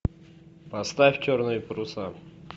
поставь черные паруса